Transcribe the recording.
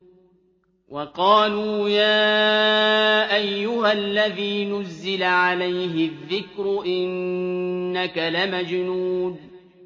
وَقَالُوا يَا أَيُّهَا الَّذِي نُزِّلَ عَلَيْهِ الذِّكْرُ إِنَّكَ لَمَجْنُونٌ